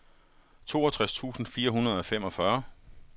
toogtres tusind fire hundrede og femogfyrre